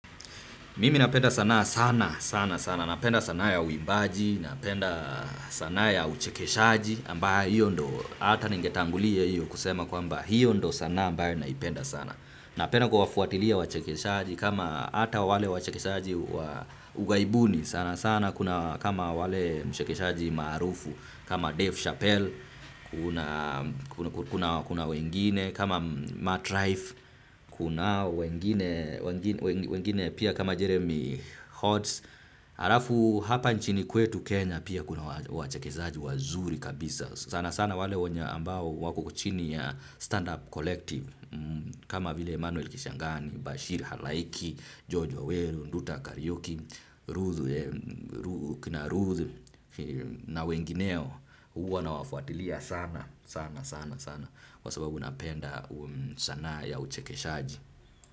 Mimi napenda sanaa sana sana sana. Napenda sanaa ya uimbaji, napenda sanaa ya uchekeshaji ambayo hiyo ndo hata ningetangulia hiyo kusema kwamba hiyo ndo sanaa ambayo naipenda sana. Napenda kuwafuatilia wachekeshaji kama hata wale wachekeshaji wa ugaibuni sana sana kuna kama wale mchekeshaji maarufu kama Dave Chappelle kuna wengine kama Matt Rife kuna wengine pia kama Jeremy Holtz. Halafu hapa nchini kwetu Kenya pia kuna wachekeshaji wazuri kabisa. Sana sana wale wenye ambao wako chini ya stand up collective kama vile Emanuel Kishangani, Bashir Halaiki, George Waweru, Nduta Kariuki, Ruth na wengineo huwa nawafuatilia sana sana sana sana kwa sababu napenda sanaa ya uchekeshaji.